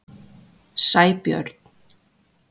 Sæbjörn